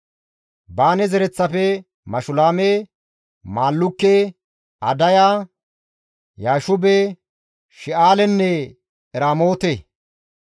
Baane zereththafe, Mashulaame, Maallukke, Adaya, Yaashube, She7alenne Eramoote,